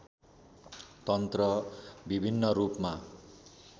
तन्त्र विभिन्न रूपमा